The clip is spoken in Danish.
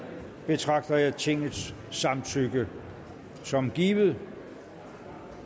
betragter jeg tingets samtykke som givet